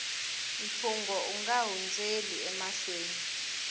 mfungho u nga hundzeli emahlweni